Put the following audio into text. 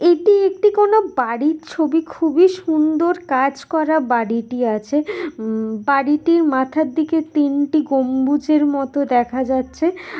এটি একটি কোনো বাড়ির ছবি খুবই সুন্দর কাজ করা বাড়িটি আছে উম বাড়িটির মাথার দিকে তিনটি গম্বুজের মতো দেখা যাচ্ছে।